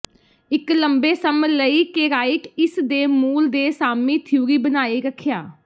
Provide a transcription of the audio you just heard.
ਇੱਕ ਲੰਬੇ ਸਮ ਲਈ ਕੇਰਾਈਟ ਇਸ ਦੇ ਮੂਲ ਦੇ ਸਾਮੀ ਥਿਊਰੀ ਬਣਾਈ ਰੱਖਿਆ